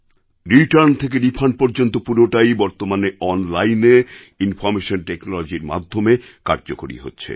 return থেকে refund পর্যন্ত পুরোটাই বর্তমানে অনলাইনে ইনফরমেশন টেকনোলজির মাধ্যমে কার্যকরী হচ্ছে